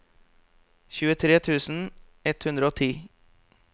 tjuetre tusen ett hundre og ti